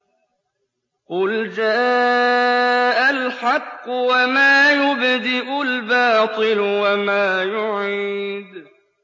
قُلْ جَاءَ الْحَقُّ وَمَا يُبْدِئُ الْبَاطِلُ وَمَا يُعِيدُ